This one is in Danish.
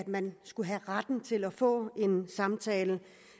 man skulle have retten til at få en samtale